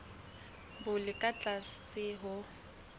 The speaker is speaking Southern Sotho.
bo le ka tlase ho